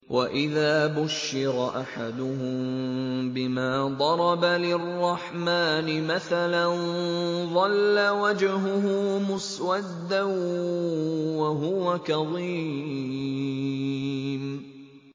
وَإِذَا بُشِّرَ أَحَدُهُم بِمَا ضَرَبَ لِلرَّحْمَٰنِ مَثَلًا ظَلَّ وَجْهُهُ مُسْوَدًّا وَهُوَ كَظِيمٌ